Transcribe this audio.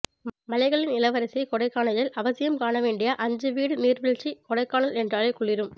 மலைகளின் இளவரசி கொடைக்கானலில் அவசியம் காண வேண்டிய அஞ்சு வீடு நீர்வீழ்ச்சி கொடைக்கானல் என்றாலே குளிரும்